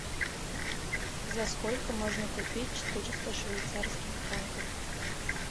за сколько можно купить четыреста швейцарских франков